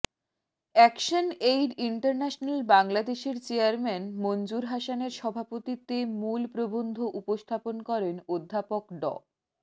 action aid international বাংলাদেশের chairman Manzoor হাসানের সভাপতিত্বে মূল প্রবন্ধ উপস্থাপন করেন অধ্যাপক ড